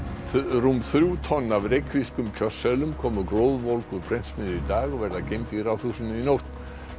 rúm þrjú tonn af reykvískum kjörseðlum komu glóðvolg úr prentsmiðju í dag og verða geymd í Ráðhúsinu í nótt